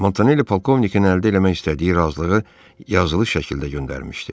Montanelli polkovnikin əldə eləmək istədiyi razılığı yazılı şəkildə göndərmişdi.